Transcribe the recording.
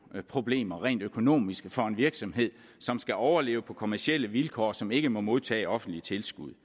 problemer rent økonomisk for en virksomhed som skal overleve på kommercielle vilkår og som ikke må modtage offentlige tilskud